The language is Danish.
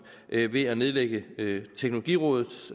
ved at nedlægge teknologirådets